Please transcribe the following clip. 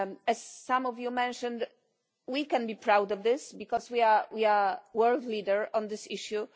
As some of you mentioned, we can be proud of this, because we are the world leader on this issue.